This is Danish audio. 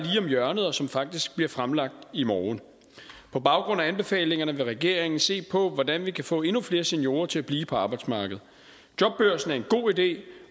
om hjørnet og som faktisk bliver fremlagt i morgen på baggrund af anbefalingerne vil regeringen se på hvordan vi kan få endnu flere seniorer til at blive på arbejdsmarkedet jobbørsen er en god idé